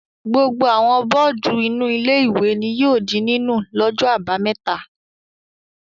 Gbogbo àwọn bọ́ọ́dù inú ilé-ìwé ni yóò di nínú lọ́jọ́ àbámẹ́ta.